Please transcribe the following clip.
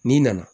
N'i nana